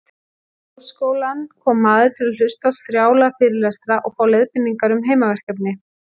Í háskólann kom maður til að hlusta á strjála fyrirlestra og fá leiðbeiningar um heimaverkefni.